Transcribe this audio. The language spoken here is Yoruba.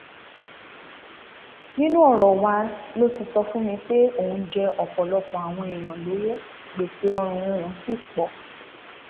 nínú ọrọ wa ló ti sọ fún mi pé òun jẹ ọpọlọpọ àwọn èèyàn lọwọ gbèsè ọrùn òun ṣì pọ